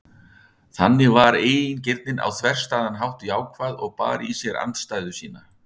Þannig var eigingirnin á þverstæðan hátt jákvæð og bar í sér andstæðu sína.